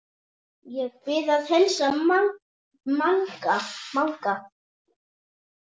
Ég bið að heilsa Manga!